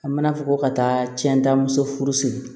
A mana fɔ ko ka taa cɛntan muso furu siri